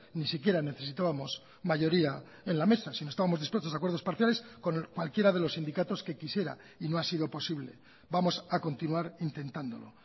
ni siquiera necesitábamos mayoría en la mesa sino estábamos dispuestos a acuerdos parciales con cualquiera de los sindicatos que quisiera y no ha sido posible vamos a continuar intentándolo